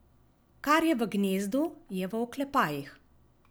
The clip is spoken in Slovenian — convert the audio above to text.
Kar je v gnezdu, je v oklepajih.